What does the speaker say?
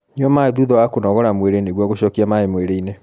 Nyua maĩ thutha wa kunogor mwĩrĩ nĩguo gucokia maĩ mwĩrĩ-ini